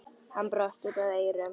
Hann brosti út að eyrum.